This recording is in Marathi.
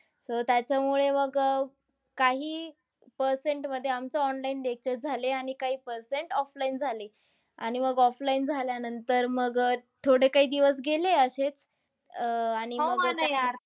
So त्याच्यामुळे मग अह काहीही percent मध्ये आमचं online lectures झाले आणि काही percent offline झाले. आणि मग offline झाल्यानंतर, मग अह थोडे काही दिवस गेले असेच. अह